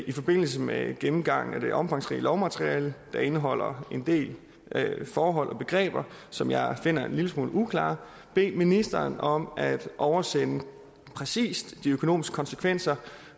i forbindelse med gennemgangen af det omfangsrige lovmateriale der indeholder en del forhold og begreber som jeg finder en lille smule uklare bede ministeren om at oversende de præcise økonomiske konsekvenser